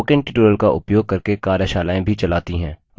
spoken tutorials का उपयोग करके कार्यशालाएँ भी चलाती है